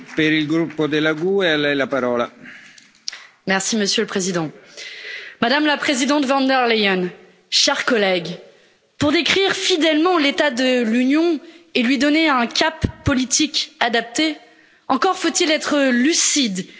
Monsieur le Président, Madame la Présidente von der Leyen, chers collègues, pour décrire fidèlement l'état de l'Union et lui donner un cap politique adapté, encore faut il être lucide sur la situation dramatique dans laquelle elle se trouve.